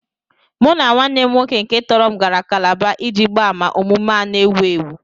Mụ na nwanne m nwoke nke tọrọ m gara Kálábá iji gbaa àmà omume a na-ewu ewu